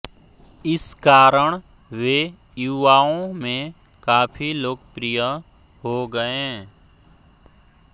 इस कारण वे युवाओं में काफी लोकप्रिय हो गये